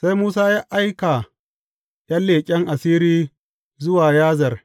Sai Musa ya aika ’yan leƙen asiri zuwa Yazer.